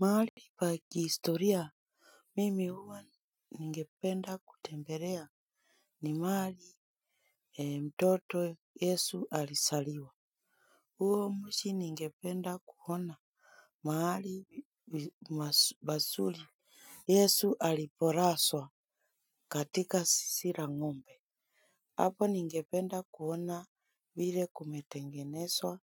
Mahali pa kihistoria mimi huwa ningependa kutembelea. Ni mahali mtoto yesu alizaliwa. Huo mji ningependa kuona. Mahali pazuri yesu alipolazwa katika zizi la ngombe. Hapo ningependa kuona vile kumetengenezwa